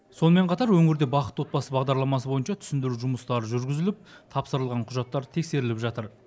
сонымен қатар өңірде бақытты отбасы бағдарламасы бойынша түсіндіру жұмыстары жүргізіліп тапсырылған құжаттар тексеріліп жатыр